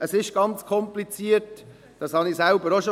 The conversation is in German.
Es ist ganz kompliziert, dies sagte ich selbst schon.